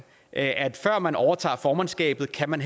at før man overtager formandskabet kan man